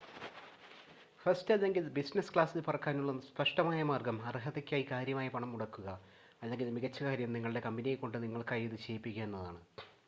first അല്ലെങ്കിൽ business ക്ലാസിൽ പറക്കാനുള്ള സ്‌പഷ്‌ടമായ മാർഗ്ഗം അർഹതയ്ക്കായി കാര്യമായി പണം മുടക്കുക അല്ലെങ്കിൽ മികച്ച കാര്യം നിങ്ങളുടെ കമ്പനിയെ കൊണ്ട് നിങ്ങൾക്കായി ഇത് ചെയ്യിക്കുക എന്നതാണ്